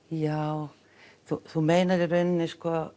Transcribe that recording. já þú meinar í raun